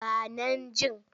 Ba nan jin.